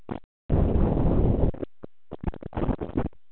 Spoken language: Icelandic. Klögumál voru því engin nema stöku landamerkjaþrætur frammi í sveitum.